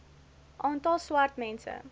aantal swart mense